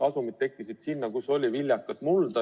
Asumid tekkisid sinna, kus oli viljakat mulda.